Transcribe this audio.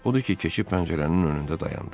Odur ki, keçib pəncərənin önündə dayandı.